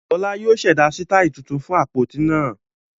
Fọlá yóò ṣẹ̀dá sítáálì tuntun fún àpótí náà